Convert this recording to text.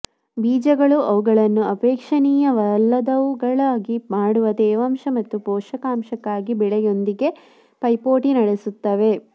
ಬೀಜಗಳು ಅವುಗಳನ್ನು ಅಪೇಕ್ಷಣೀಯವಲ್ಲದವುಗಳಾಗಿ ಮಾಡುವ ತೇವಾಂಶ ಮತ್ತು ಪೋಷಕಾಂಶಕ್ಕಾಗಿ ಬೆಳೆಯೊಂದಿಗೆ ಪೈಪೋಟಿ ನಡೆಸುತ್ತವೆ